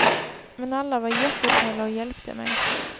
Men alla var jättesnälla och hjälpte mig.